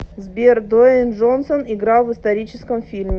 сбер дуэйн джонсон играл в историческом фильме